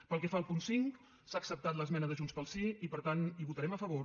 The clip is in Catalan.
pel que fa al punt cinc s’ha acceptat l’esmena de junts pel sí i per tant hi votarem a favor